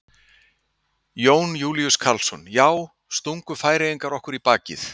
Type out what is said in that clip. Jón Júlíus Karlsson: Já, stungu Færeyingar okkur í bakið?